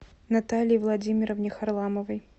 наталье владимировне харламовой